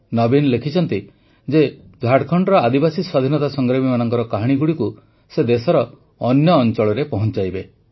ନବୀନ ଲେଖିଛନ୍ତି ଯେ ଝାଡ଼ଖଣ୍ଡର ଆଦିବାସୀ ସ୍ୱାଧୀନତା ସଂଗ୍ରାମୀମାନଙ୍କ କାହାଣୀଗୁଡ଼ିକୁ ସେ ଦେଶର ଅନ୍ୟ ଅଞ୍ଚଳରେ ପହଞ୍ଚାଇବେ